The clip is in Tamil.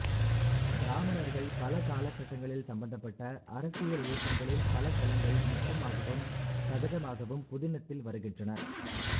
பிராமணர்கள் பல காலகட்டங்களில் சம்பந்தப்பட்ட அரசியலியக்கங்களின் பலதளங்கள் நுட்பமாகவும் சகஜமாகவும் புதினத்தில் வருகின்றன